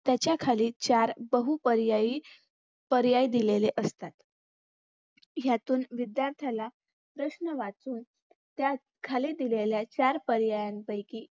त्याच्याखाली चार बहुपर्यायी पर्याय दिलेले असतात यातून विध्यार्थाला प्रश्न वाचुन त्यात खाली दिलेल्या चार पर्यायीपैकी